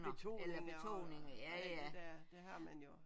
Betoninger og det der det har man jo